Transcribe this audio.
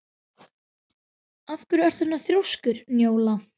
Af hverju ertu svona þrjóskur, Njóla?